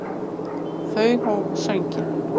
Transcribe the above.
Þau hófu sönginn.